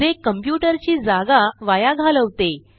जे कॉम्प्युटर ची जागा वाया घालवते